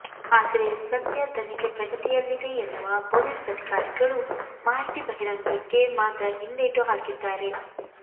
ಆದ್ರೆ ಸದ್ಯ ತನಿಖೆ ಪ್ರಗತಿಯಲ್ಲಿದೆ ಎನ್ನುವ ಪೊಲೀಸ್ ಅಧಿಕಾರಿಗಳು ಮಾಹಿತಿ ಬಹಿರಂಗಕ್ಕೆ ಮಾತ್ರ ಹಿಂದೇಟು ಹಾಕಿದ್ದಾರೆ